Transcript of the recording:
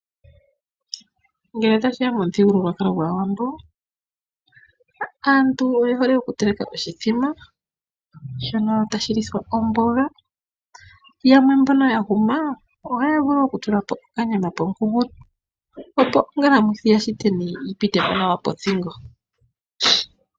Ngele ta shiya mo muthigululwakalo gwaawambo, aantu oye hole oku teleka oshithima. Shono ta shi lithwa omboga, yamwe mbono ya huma oha ya vulu oku tula po okanyama po mukunkulo. Opo ongala mwithi ya shiteni yi pite po nawa pothingo.